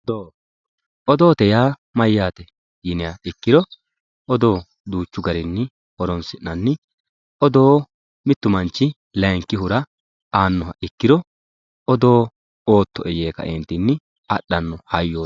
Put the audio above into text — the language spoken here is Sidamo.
odoote yaa mayyate yiniha ikkiro odoo duuchu garinni horonsi'nani odoo mittu manchi layiinkihura aanno ikkiro odoo oottoe yee kaeentinni adhanno hayyooti.